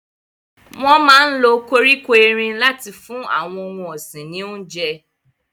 Wọn máa ń lo koríko erin láti fún àwọn ohun ọ̀sìn ní oúnjẹ.